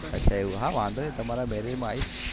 હા વાંધો નઈ તમારા marriage માં આઈસ